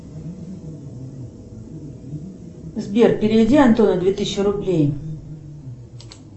сбер переведи антону две тысячи рублей